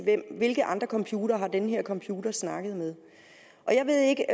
hvilke andre computere den her computer har snakket med jeg ved ikke